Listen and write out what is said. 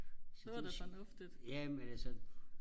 så det ja men altså